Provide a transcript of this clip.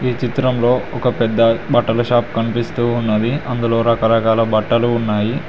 చిత్రంలో ఒక పెద్ద బట్టల షాప్ కనిపిస్తూ ఉన్నది. అందులో రకరకాల బట్టలు ఉన్నాయి.